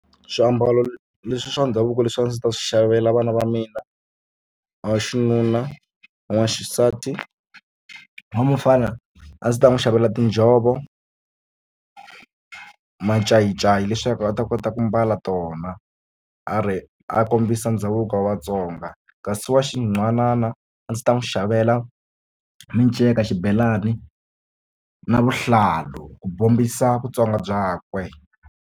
Swiambalo leswi swa ndhavuko leswi a ndzi ta swi xavela vana va mina va xinuna n'waxisati wa mufana a ndzi ta n'wi xavela tinjhovo macayicayi leswaku a ta kota ku mbala tona a ri a kombisa ndhavuko wa Vatsonga kasi wa xinhwanana a ndzi ta n'wi xavela minceka xibelani na vuhlalu ku bombisa Vutsonga byakwe.